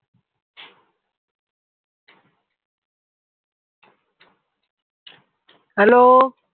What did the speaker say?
hello